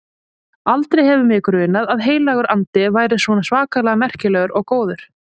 Aldrei hefur mig grunað að Heilagur Andi væri svona svakalega merkilegur og góður.